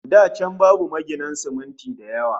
Da can babu maginan siminti da yawa